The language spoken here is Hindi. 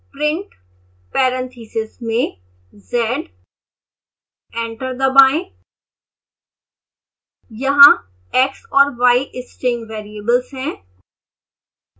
print parentheses में z एंटर दबाएं